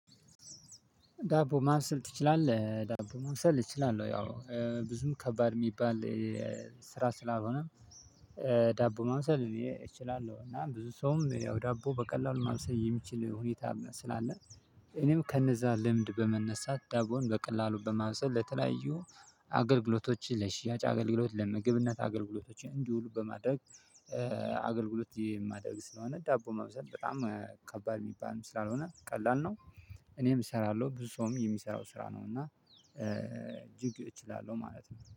ዳቦ ማብሰል ትችላለህ ዳቦ ማብሰል እችላለሁ ያው ብዙም ከባድ እሚባል ስራ ስላልሆነ ዳቦ ማብሰል እኔ እችላለሁ እና ብዙ ሰውም ያው ዳቦ በቀላሉ ማብሰል የሚችል ሁኔታም ስላለ እኔም ከነዛ ልምድ በመነሳት ዳቦን በቀላሉ በማብሰል ለተለያዩ አገልግሎቶች ለሽያጭ አገልግሎት ለምግብነት አገልግሎቶች እንዲውሉ በማድረግ አገልግሎት የማደርግ ስለሆነ ዳቦ መብሰል በጣም ከባድ እሚባል ስላልሆነ ቀላል ነው። እኔም እሰራለሁ ብዙ ሰውም የሚሰራው ስራ ነው እና እጅግ እችላለሁ ማለት ነው